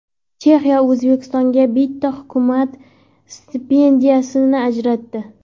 Chexiya O‘zbekistonga bitta hukumat stipendiyasini ajratdi.